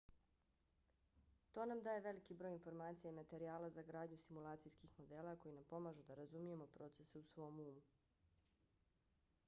to nam daje veliki broj informacija i materijala za gradnju simulacijskih modela koji nam pomažu da razumijemo procese u svom umu